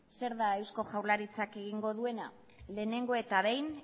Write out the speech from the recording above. zer da eusko jaurlaritzak egingo duena lehenengo eta behin